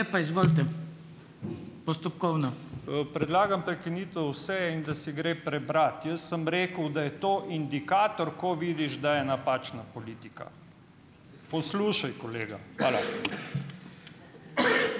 Predlagam prekinitev seje in da se gre prebrati. Jaz sem rekel, da je to indikator, ko vidiš, da je napačna politika. Poslušaj kolega. Hvala.